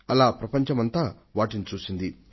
అలా ప్రపంచమంతా వాటిని చూసింది